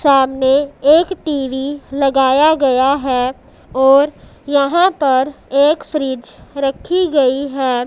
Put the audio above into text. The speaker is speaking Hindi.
सामने एक टी_वी लगाया गया है और यहां पर एक फ्रिज रखी गई है।